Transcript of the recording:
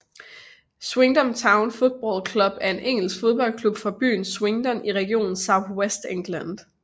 Swindon Town Football Club er en engelsk fodboldklub fra byen Swindon i regionen South West England